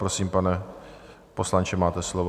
Prosím, pane poslanče, máte slovo.